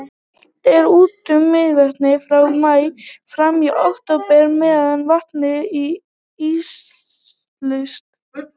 dælt er úr mývatni frá maí fram í október meðan vatnið er íslaust